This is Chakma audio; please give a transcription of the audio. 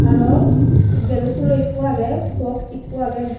aro gaso sulo ekko agge box ekko agge.